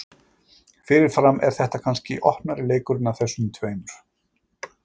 Fyrirfram er þetta kannski opnari leikurinn af þessum tveimur.